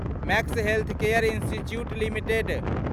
max healthcare institute limited